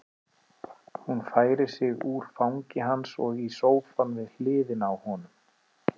Hún færir sig úr fangi hans og í sófann við hliðina á honum.